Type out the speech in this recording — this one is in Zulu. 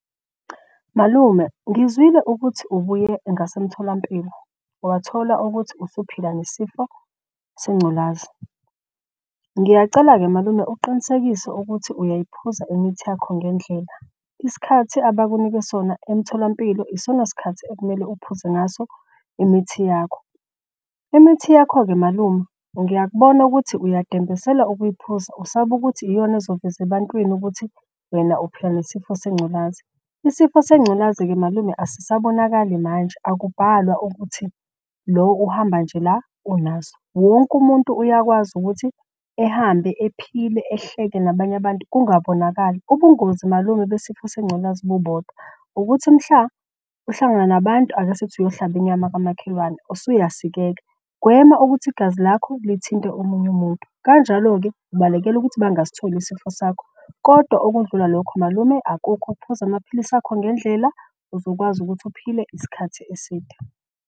Malume ngizwile ukuthi ubuye ngasemtholampilo wathola ukuthi usuphila ngesifo sengculaza. Ngiyacela-ke malume uqinisekise ukuthi uyayiphuza imithi yakho ngendlela. Isikhathi abakunike sona emtholampilo isona sikhathi okumele uphuze ngaso imithi yakho. Imithi yakho-ke malume ngiyakubona ukuthi uyadembesela ukuyiphuza. Usaba ukuthi iyona ezoveza ebantwini ukuthi wena uphila nesifo sengculaza. Isifo sengculazi-ke malume asisabonakali manje, akubhalwa ukuthi lo uhamba nje la unaso. Wonke umuntu uyakwazi ukuthi ehambe ephile, ehleke nabanye abantu kungabonakali. Ubungozi malume besifo sengculazi bubodwa ukuthi mhla uhlangana nabantu. Ake sithi uyohlaba inyama kwamakhelwane usuyasikeka, gwema ukuthi igazi lakho lithinte omunye umuntu. Kanjalo-ke ubalekela ukuthi bangasitholi isifo sakho kodwa okudlula lokhu malume, akukho ukuphuza amaphilisi akho ngendlela. Uzokwazi ukuthi uphile isikhathi eside.